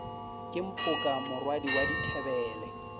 ke mphoka morwadi wa dithebele